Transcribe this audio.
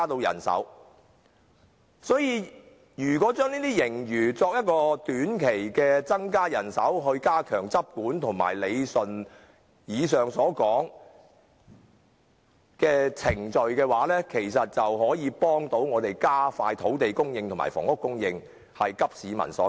因此，如果把這些盈餘用以增加短期人手以加強執管和理順以上所說的程序，其實是有助加快土地供應和房屋供應的步伐，急市民所急。